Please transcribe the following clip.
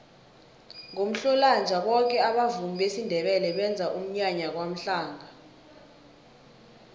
ngomhlolanja boke abavumi besindebele benza umnyanya kwamhlanga